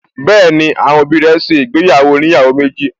Bẹ́ẹ̀ni, àwọn òbí rẹ̀ ṣe ìgbéyàwó oníyàwó méjì